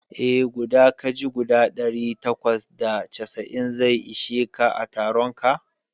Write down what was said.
Eh, guda kaji guda ɗari takwas da casa'in zai ishe ka a taronka